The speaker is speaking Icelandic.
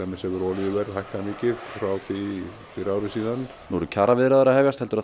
hefur olíuverð hækkað mikið frá því fyrir ári síðan nú eru kjaraviðræður að hefjast heldur